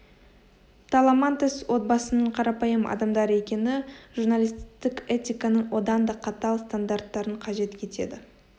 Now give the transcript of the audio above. таламантес отбасының қарапайым адамдар екені журналистік этиканың одан да қатал стандарттарын қажет етеді